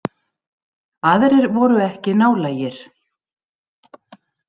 Aðrir voru ekki nálægir.